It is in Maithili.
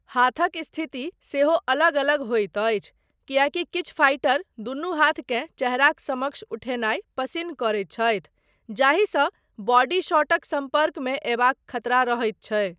हाथक स्थिति सेहो अलग अलग होइत अछि किएकी किछु फाइटर दुनू हाथकेँ चेहराक समक्ष उठेनाय पसिन्न करैत छथि, जाहिसँ बॉडी शॉटक सम्पर्कमे अयबाक खतरा रहैत छै।